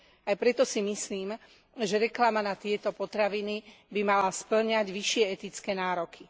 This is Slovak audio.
Aj preto si myslím, že reklama na tieto potraviny by mala spĺňať vyššie etické nároky.